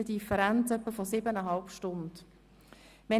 Somit ergibt sich eine Differenz von etwa siebeneinhalb Stunden.